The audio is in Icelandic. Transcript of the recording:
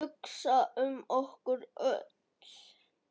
Hugsa um okkur öll.